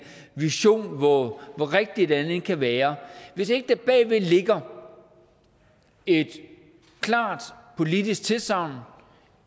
vision hvor rigtig den end kan være ligger et klart politisk tilsagn